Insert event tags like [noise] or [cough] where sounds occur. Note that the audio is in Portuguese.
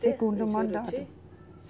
Segundo mandato. [unintelligible]